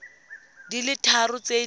di le tharo tse di